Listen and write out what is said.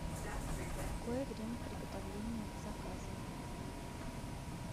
какое время приготовления заказа